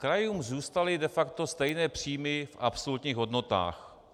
Krajům zůstaly de facto stejné příjmy v absolutních hodnotách.